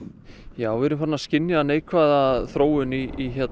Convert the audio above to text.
já við erum farin að skynja neikvæða þróun í